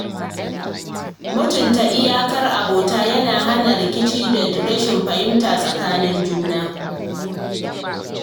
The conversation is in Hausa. Mutunta iyakar abota yana hana rikici da rashin fahimta a tsakanin juna.